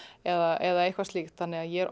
eða eitthvað slíkt þannig ég er